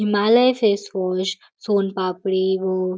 Himalaya face wash soan papdi हो --